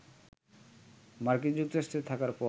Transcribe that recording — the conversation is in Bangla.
মার্কিন যুক্তরাষ্ট্রে থাকার পর